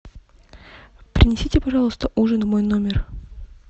принесите пожалуйста ужин в мой номер